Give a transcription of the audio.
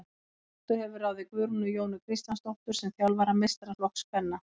Þróttur hefur ráðið Guðrúnu Jónu Kristjánsdóttur sem þjálfara meistaraflokks kvenna.